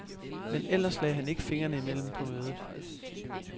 Men ellers lagde han ikke fingrene imellem på mødet.